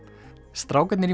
strákarnir í